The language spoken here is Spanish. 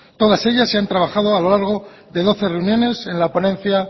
todas ellas se han trabajado a lo largo de doce reuniones en la ponencia